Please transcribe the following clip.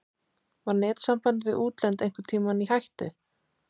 Var netsamband við útlönd einhvern tímann í hættu?